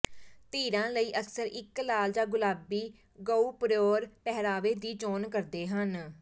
ਧਿਰਾਂ ਲਈ ਅਕਸਰ ਇੱਕ ਲਾਲ ਜਾਂ ਗੁਲਾਬੀ ਗੁਉਪਰੋਅਰ ਪਹਿਰਾਵੇ ਦੀ ਚੋਣ ਕਰਦੇ ਹਨ